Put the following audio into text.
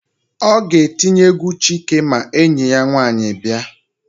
Ọ ga-etinye égwú Chike ma enyi ya nwaanyị bịa.